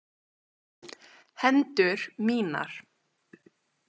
Hendur mínar.